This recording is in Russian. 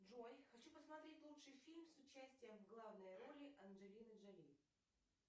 джой хочу посмотреть лучший фильм с участием в главной роли анджелины джоли